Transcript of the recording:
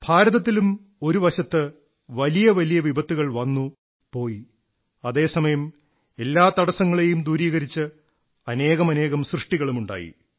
ഭാരതത്തിലും ഒരു വശത്ത് വലിയ വലിയ വിപത്തുകൾ വന്നു പോയി അതേ സമയം എല്ലാ തടസ്സങ്ങളെയും ദൂരീകരിച്ച് അനേകമനേകം സൃഷ്ടികളുമുണ്ടായി